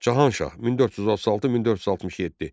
Cahan Şah, 1436-1467.